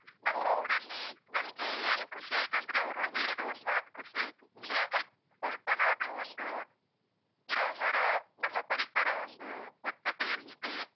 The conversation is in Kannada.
ನಮ್ಮ ಊರಲ್ಲಿ ನನ್ಗೆ ಏನು ಖುಷಿ ಆಯ್ತಂದ್ರೆ, ಅವರು ಹೇಳಿದ ಒಂದು ಮಾತು ಖುಷಿ ಆಯ್ತು, ಇಲ್ಲಿ ಸ್ವಲ್ಪನಾದ್ರೂ ಒಂದು ಗಿಡ, ಮರ, ನಮ್ಮ ಪರಿಸರ ಒಂದು ಸ್ವಚ್ಚತೆಯಲ್ಲಿದೆ.